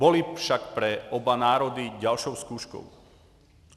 Byly však pro oba národy další zkouškou.